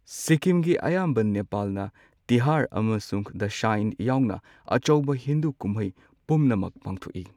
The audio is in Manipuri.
ꯁꯤꯛꯀꯤꯝꯒꯤ ꯑꯌꯥꯝꯕ ꯅꯦꯄꯥꯜꯅ ꯇꯤꯍꯥꯔ ꯑꯃꯁꯨꯡ ꯗꯁꯥꯏꯟ ꯌꯥꯎꯅ ꯑꯆꯧꯕ ꯍꯤꯟꯗꯨ ꯀꯨꯝꯍꯩ ꯄꯨꯝꯅꯃꯛ ꯄꯥꯡꯊꯣꯛꯏ꯫